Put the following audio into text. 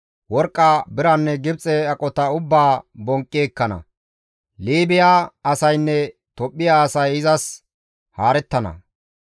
Worqqa, biranne Gibxe aqota ubbaa bonqqi ekkana; Liibiya asaynne Tophphiya asay izas haarettana.